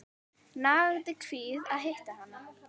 Nagandi kvíði að hitta hana.